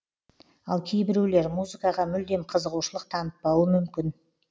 ал кейбіреулер музыкаға мүлдем қызығушылық танытпауы мүмкін